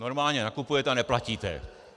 Normálně nakupujete a neplatíte.